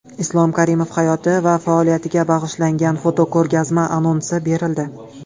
Islom Karimov hayoti va faoliyatiga bag‘ishlangan fotoko‘rgazma anonsi berildi.